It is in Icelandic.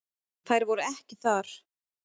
Þær voru ekki þar.